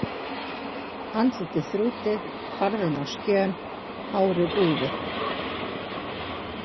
Andlitið þrútið, farðinn á skjön, hárið úfið.